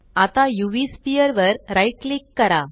आता उव स्फियर वर राइट क्लिक करा